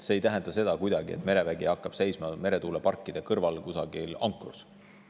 See ei tähenda seda, et merevägi hakkab seisma meretuuleparkide kõrval kusagil ankrus.